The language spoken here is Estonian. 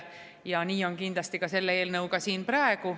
Ja nii on kindlasti ka selle eelnõuga siin praegu.